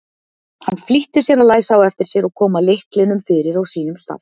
Hann flýtti sér að læsa á eftir sér og koma lyklinum fyrir á sínum stað.